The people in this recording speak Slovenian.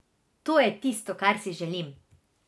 To je tisto, kar si želim.